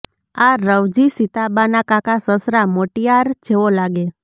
આ રવજી સીતાબાના કાકા સસરા મોટિયાર જેવો લાગે